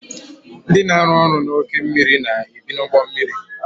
Ndị na-arụ n'oke mmiri na-ebi n' ime ugbommiri